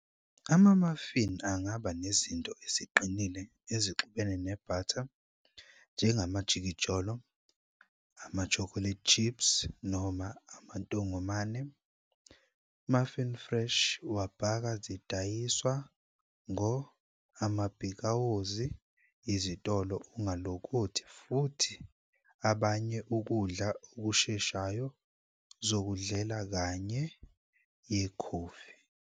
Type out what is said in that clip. Ama-muffin angaba nezinto eziqinile ezixubene ne-batter, njengamajikijolo, ama-chocolate chips noma amantongomane. Muffin Fresh wabhaka zidayiswa ngo amabhikawozi, izitolo Ungalokothi futhi abanye ukudla okusheshayo zokudlela kanye yekhofi.